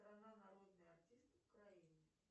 народный артист украины